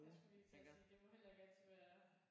Jeg skulle lige til at sige det må heller ikke altid være